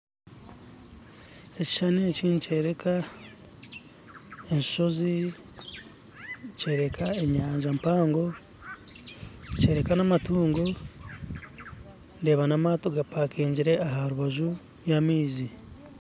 Ekishushani eki nikyoreka enshozi kyoreka enyanja mpago kyoreka namatungo ndeeba amaato gapakingire aharubaju rwamaizi.